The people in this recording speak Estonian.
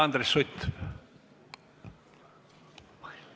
Andres Sutt!